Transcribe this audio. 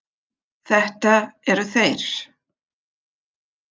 Þetta eru þeir.